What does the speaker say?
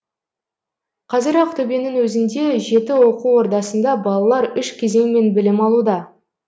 қазір ақтөбенің өзінде жеті оқу ордасында балалар үш кезеңмен білім алуда